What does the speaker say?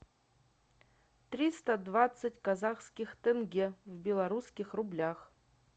триста двадцать казахских тенге в белорусских рублях